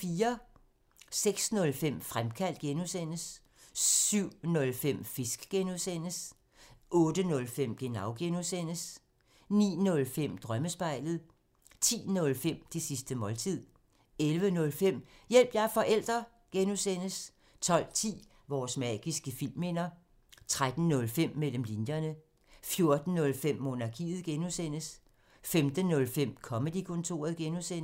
06:05: Fremkaldt (G) 07:05: Fisk (G) 08:05: Genau (G) 09:05: Drømmespejlet 10:05: Det sidste måltid 11:05: Hjælp – jeg er forælder! (G) 12:10: Vores magiske filmminder 13:05: Mellem linjerne 14:05: Monarkiet (G) 15:05: Comedy-kontoret (G)